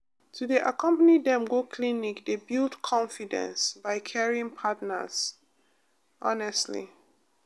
to dey accompany dem go clinic dey build confidence by caring partners pause honestly